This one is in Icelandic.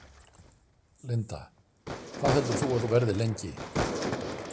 Linda: Hvað heldur þú að þú verðir lengi?